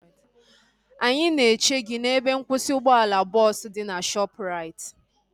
Anyị na eche gị n'ebe nkwụsị ụgbọala bọọsu dị na Shoopu raiti